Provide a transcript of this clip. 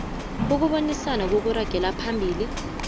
ukubonisana okuragela phambili